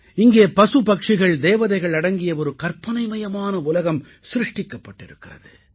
இங்கே பசு பட்சிகள் தேவதைகள் அடங்கிய ஒரு கற்பனைமயமான உலகம் சிருஷ்டிக்கப்பட்டிருக்கிறது